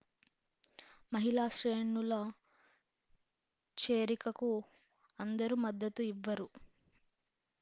మహిళా శ్రేణుల చేరికకు అందరూ మద్దతు ఇవ్వరు